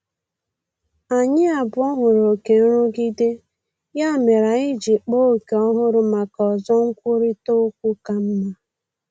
Anyị abụọ hụrụ oke nrụgide, ya mere anyị ji kpaa ókè ọhụrụ maka ozo nkwurịta okwu ka mma